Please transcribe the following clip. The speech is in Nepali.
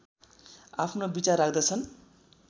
आफ्नो विचार राख्दछन्